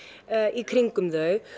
í kringum þau